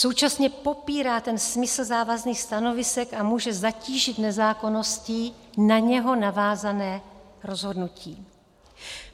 Současně popírá ten smysl závazných stanovisek a může zatížit nezákonností na něj navázané rozhodnutí.